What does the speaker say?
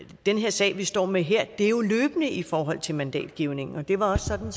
den sag vi står med her det er jo løbende i forhold til mandatgivningen det var også sådan